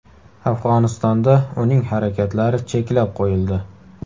Afg‘onistonda uning harakatlari cheklab qo‘yildi.